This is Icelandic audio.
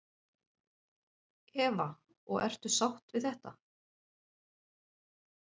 Eva: Og ertu sátt við þetta?